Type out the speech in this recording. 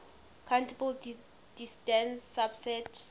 countable dense subset